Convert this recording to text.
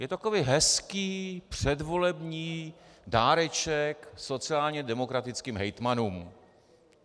Je to takový hezký předvolební dáreček sociálně demokratickým hejtmanům.